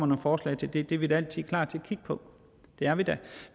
nogle forslag til det det er vi da altid klar til at kigge på det er vi da